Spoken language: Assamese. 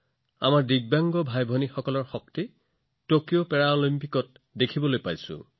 আমাৰ দিব্যাংগ ভাইভনীসকলে কি কৰিব পাৰে আমি টকিঅ পেৰালিম্পিকত দেখিছোঁ